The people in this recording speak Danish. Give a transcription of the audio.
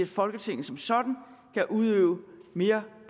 folketinget som sådan kan udøve mere